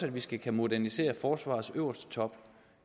at vi skal kunne modernisere forsvarets øverste top